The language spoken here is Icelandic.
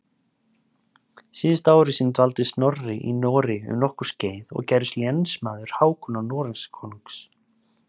Síðustu ár sín dvaldi Snorri í Noregi um nokkurt skeið og gerðist lénsmaður Hákonar Noregskonungs.